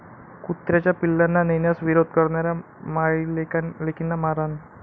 कुत्र्याच्या पिल्लांना नेण्यास विरोध करणाऱ्या मायलेकींना मारहाण